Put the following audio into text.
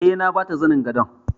Eh. na bata zanin gadon.